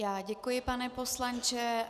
Já děkuji, pane poslanče.